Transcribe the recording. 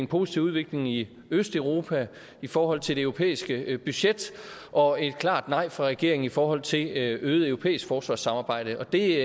positiv udvikling i østeuropa i forhold til det europæiske budget og et klart nej fra regeringen i forhold til øget europæisk forsvarssamarbejde og det